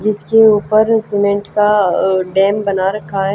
जिसके ऊपर सीमेंट का अह डैम बना रखा है।